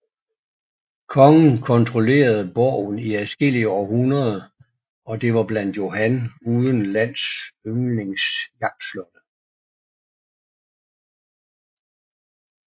Kongen kontrollerede borgen i adskillige århundreder og det var blandt Johan uden lands yndlings jagtslotte